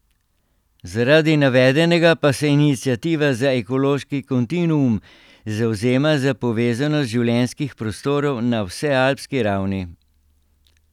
Zaradi navedenega pa se Iniciativa za ekološki kontinuum zavzema za povezanost življenjskih prostorov na vsealpski ravni.